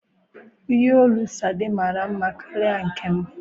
ihe òlú Sade mara nma karịa nkem.